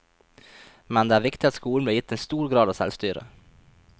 Men det er viktig at skolen blir gitt en stor grad av selvstyre.